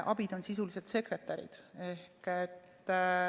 Abid on sisuliselt sekretärid.